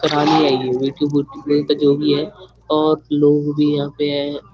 जो भी है और लोग भी है।